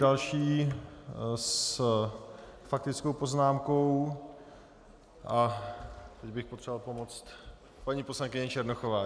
Další s faktickou poznámkou - a teď bych potřeboval pomoct - paní poslankyně Černochová.